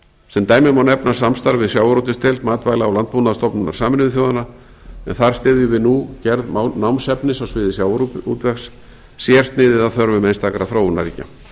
sem dæmi má nefna samstarf við sjávarútvegsdeild matvæla og landbúnaðarstofnunar sameinuðu þjóðanna en þar styðjum við nú gerð námsefnis á sviði sjávarútvegs sérsniðið að þörfum einstakra þróunarríkja